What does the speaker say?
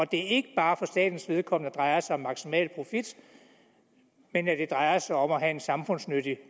det ikke bare for statens vedkommende drejer sig om maksimal profit men at det drejer sig om at have en samfundsnyttig